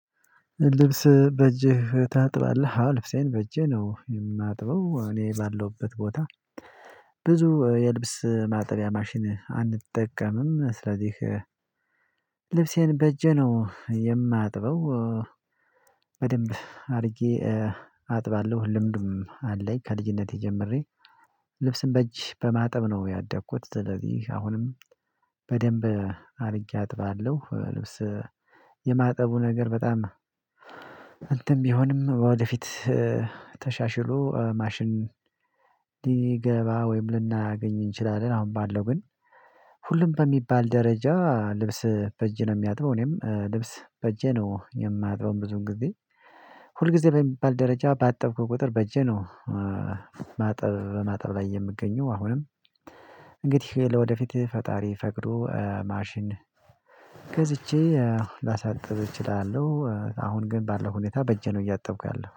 ልብስ በእጅህ ታጥባለህ አልፍሴን በእጅህ ነው የማጥበው እኔ ባለውበት ቦታ ብዙ የልብስ ማጠቢያ ማሽን አንጠቀምም ስለዚህ ልብሴን በጀ ነው የማጥበው። በደንብ አድርጌ አጥባለሁ ልምዱም አለኝ ከልጅነቴ ጀምሬ ልብስን በእጅ በማጥብ ነው ያደኩት ስለዚህ አሁንም በደንብ አድርጌ አጥባለሁ። ልብስ የማጠቡ ነገር በጣም ቢሆንም ወደፊት ተሻሽሎ ማሽን ቢገባ ወይም ልናገኝ እንችላለን። አሁን ባለው ግን ሁሉም በሚባል ደረጃ ልብስ በእጅ ነው የሚያጥበው። እኔም ልብስ በእጄ ነው የማጥበው። ብዙን ጊዜ ሁል ጊዜ በሚባል ደረጃ ባጠብኩት ቁጥር በእጄ ነው። ማጠብ በማጠብ ላይ የምገኘው አሁንም እንግዲህ ለወደፊት ፈጣሪ ፈቅዶ ማሽን ገዝቼ ላሳጥብ እችላለሁ። አሁን ግን ባለው ሁኔታ በእጄ ነው እያጠብኩ ያለው